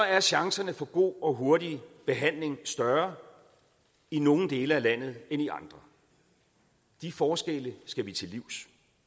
at chancerne for god og hurtig behandling er større i nogle dele af landet end i andre de forskelle skal vi til livs